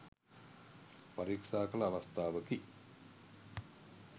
පරීක්ෂා කළ අවස්ථාවකි.